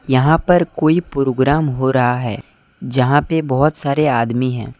यहां पर कोई प्रोग्राम हो रहा है जहां पे बहोत सारे आदमी है।